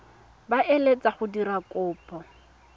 ba eletsang go dira kopo